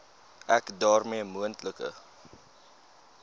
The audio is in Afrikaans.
ek daarmee moontlike